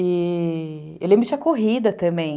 E... eu eu lembro que tinha corrida também.